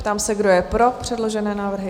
Ptám se, kdo je pro předložené návrhy?